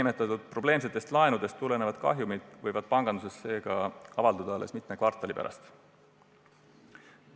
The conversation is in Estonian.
Seega võib probleemsetest laenudest tulenev kahjum avalduda panganduses alles mitme kvartali pärast.